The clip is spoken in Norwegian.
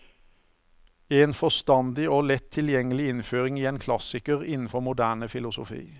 En forstandig og lett tilgjengelig innføring i en klassiker innenfor moderne filosofi.